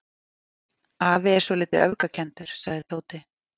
Afi er svolítið öfgakenndur sagði Tóti.